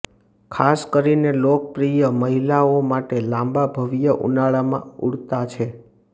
ખાસ કરીને લોકપ્રિય મહિલાઓ માટે લાંબા ભવ્ય ઉનાળામાં ઉડતા છે